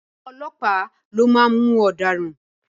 À̀wọn ọlọ́pàá lo máa mú ọ̀daràn.